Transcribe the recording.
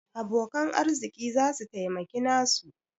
Abokan arziki za su taimaki nasu.